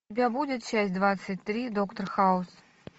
у тебя будет часть двадцать три доктор хаус